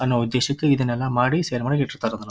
ಅನ್ನೋ ಉದ್ದೇಶಕ್ಕೆ ಇದನ್ನೆಲ್ಲಾ ಮಾಡಿ ಸೆರೆಮನೆಗೆ ಇಟ್ಟಿರತ್ತರ್ ಅದನ್ನ.